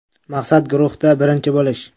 Maqsad guruhda birinchi bo‘lish.